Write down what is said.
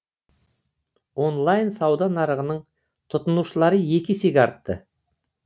онлайн сауда нарығының тұтынушылары екі есеге артты